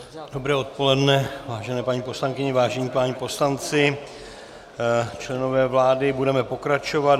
Dobré odpoledne, vážené paní poslankyně, vážení páni poslanci, členové vlády, budeme pokračovat.